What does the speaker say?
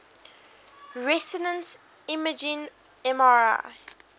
resonance imaging mri